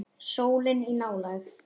Sólin í nálægð.